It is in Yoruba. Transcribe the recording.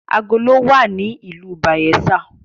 Agolo wa ni ìlú Bayelsa.